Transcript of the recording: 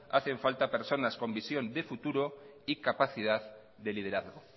hacen falta personas con visión de futuro y capacidad de liderazgo